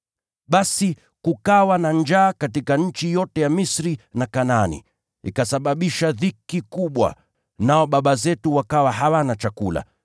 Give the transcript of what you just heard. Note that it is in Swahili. “Basi kukawa na njaa katika nchi yote ya Misri na Kanaani, ikasababisha dhiki kubwa, nao baba zetu wakawa hawana chakula.